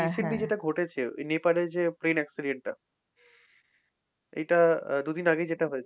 এই recently যেটা ঘটেছে নেপালের যে train accident টা এটা দুদিন আগে যেইটা হয়েছে